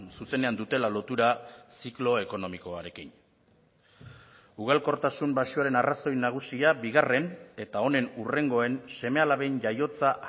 zuzenean dutela lotura ziklo ekonomikoarekin ugalkortasun baxuaren arrazoi nagusia bigarren eta honen hurrengoen seme alaben jaiotza